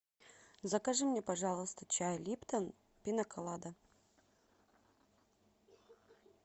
закажи мне пожалуйста чай липтон пина колада